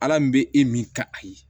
Ala min bɛ e min ka a ye